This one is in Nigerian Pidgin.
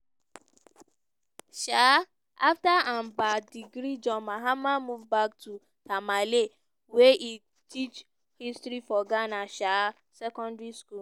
um afta im ba degree john mahama move back to tamale wia e teach history for ghana um secondary school.